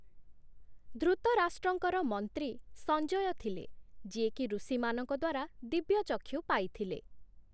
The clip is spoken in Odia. ଧୃତରାଷ୍ଟ୍ରଙ୍କର ମନ୍ତ୍ରୀ ସଞ୍ଜୟ ଥିଲେ, ଯିଏକି ଋଷିମାନଙ୍କ ଦ୍ୱାରା ଦିବ୍ୟଚକ୍ଷୁ ପାଇଥିଲେ ।